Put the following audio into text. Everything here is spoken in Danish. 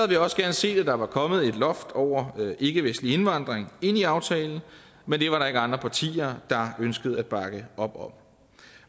vi også gerne set at der var kommet et loft over ikkevestlig indvandring ind i aftalen men det var der ikke andre partier der ønskede at bakke op om